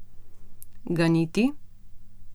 Ganiti?